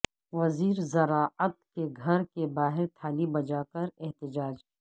وزیر زراعت کے گھر کے باہر تھالی بجاکر احتجاج